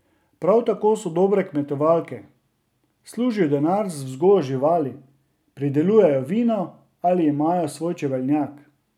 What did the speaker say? Prav tako so dobre kmetovalke, služijo denar z vzgojo živali, pridelujejo vino ali imajo svoj čebelnjak.